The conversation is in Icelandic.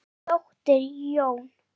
Þín dóttir Jóna.